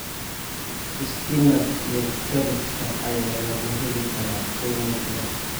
Spinach iyo kaabajka ayaa lagu heli karaa qiimo jaban.